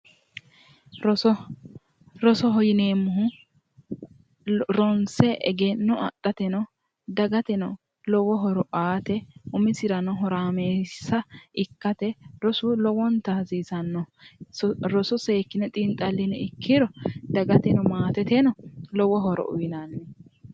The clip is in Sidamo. Rosoho rosoho yineemmohu ronse egenno afi'neemmo dagateno lowo horo aate umisirano horaameessa ikkate rosu lowonta hasiisanno roso seekkine xiinxallini ikkiro dagateno maateteno lowo horo uyinanni